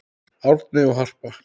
Árni og Harpa.